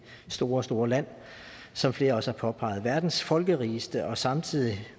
store store land som flere også har påpeget verdens folkerigeste og samtidig